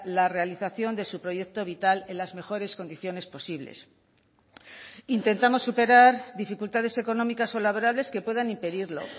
la realización de su proyecto vital en las mejores condiciones posibles intentamos superar dificultades económicas o laborales que puedan impedirlo